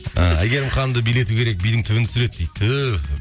ы әйгерім ханымды билету керек бидің түбін түсіреді дейді түһ